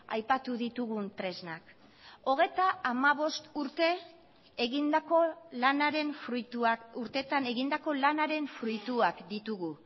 aipatu ditugun tresnak hogeita hamabost urte egindako lanaren fruituak urtetan egindako lanaren fruituak ditugu